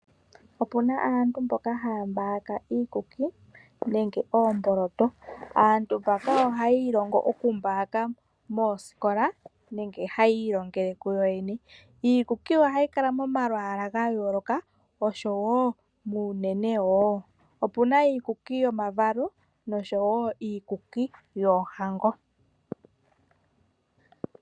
Opuna aantu mboka haa mbaaka iikuki nenge oomboloto aantu mbaka oha yiilongo oku mbaaka moosikola nenge hayiilongele kuyoyene iikuki ohayi kala lomalwaalwa gayooloka osho woo muunene woo, opuna iikuki yomavalo osho woo iikuki yoohango.